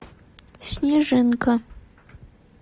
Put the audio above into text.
снежинка